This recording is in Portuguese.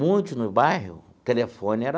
Muitos no bairro, o telefone era...